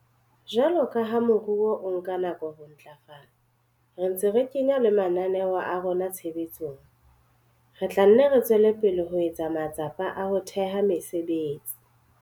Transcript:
Jwalo ka ha moruo o nka nako ho ntlafala, re ntse re kenya le mananeo a rona tshebetsong, re tla nne re tswele pele ho etsa matsapa a ho theha mesebetsi.